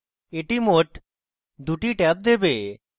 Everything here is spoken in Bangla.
that মোট 2 that ট্যাব দেবে